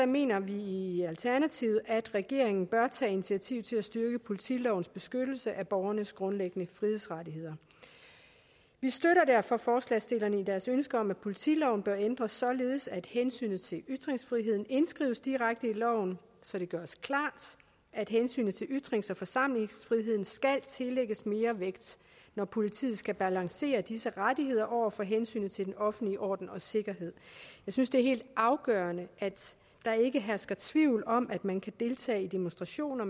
mener vi i alternativet at regeringen bør tage initiativ til at styrke politilovens beskyttelse af borgernes grundlæggende frihedsrettigheder vi støtter derfor forslagsstillerne i deres ønske om at politiloven bør ændres således at hensynet til ytringsfriheden indskrives direkte i loven så det gøres klart at hensynet til ytrings og forsamlingsfriheden skal tillægges mere vægt når politiet skal balancere disse rettigheder over for hensynet til den offentlige orden og sikkerhed jeg synes det er helt afgørende at der ikke hersker tvivl om at man kan deltage i demonstrationer